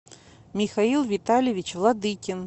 михаил витальевич владыкин